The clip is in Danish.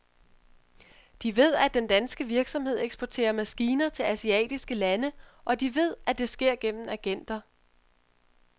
De ved, at den danske virksomhed eksporterer maskiner til asiatiske lande, og de ved, at det sker gennem agenter.